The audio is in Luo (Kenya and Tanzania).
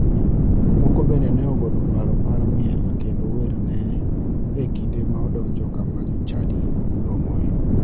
Moko bende ne ogolo paro mar miel kendo werne e kinde ma odonjo kama jochadi romoe.